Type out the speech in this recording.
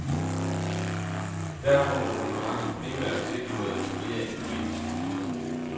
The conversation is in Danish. Derfor må konferencen primært sigte mod at etablere en politisk union.